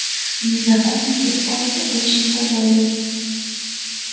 незнакомец остался очень доволен